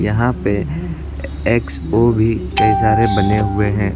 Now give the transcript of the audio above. यहां पे X O भी कई सारे बने हुए हैं।